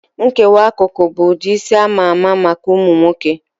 Nkewa akụkụ bụ ụdị isi ama ama maka ụmụ nwoke